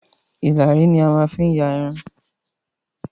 Ìlàrí ni a máa n fi ya Irun